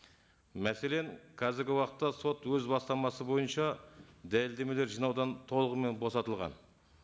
мәселен қазіргі уақытта сот өз бастамасы бойынша дәлелдемелер жинаудан толығымен босатылған